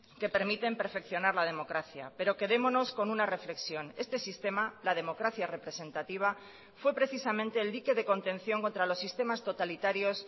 que permiten perfeccionar la democracia pero quedémonos con una reflexión este sistema la democracia representativa fue precisamente el dique de contención contra los sistemas totalitarios